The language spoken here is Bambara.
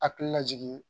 Hakili lajigin